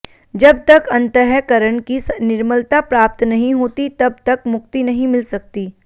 जब तक अंतःकरण की निर्मलता प्राप्त नहीं होती तब तक मुक्ति नहीं मिल सकती